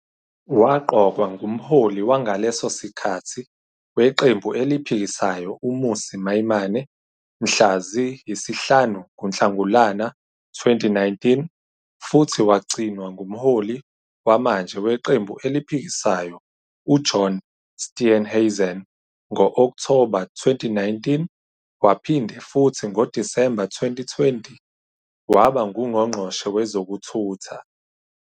Waqokwa nguMholi wangaleso sikhathi weqembu eliphikisayo uMmusi Maimane mhla ziyi-5 kuNhlangulana 2019 futhi wagcinwa nguMholi wamanje weqembu eliphikisayo uJohn Steenhuisen ngo-Okthoba 2019 waphinde futhi ngoDisemba 2020, waba nguNgqongqoshe Wezokuthutha.